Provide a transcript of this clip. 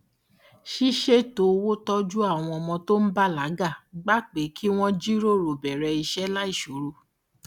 ṣíṣètò owó tọjú àwọn ọmọ tó ń bàlágà gba pé kí wọn jíròrò bẹrẹ iṣẹ láìṣòro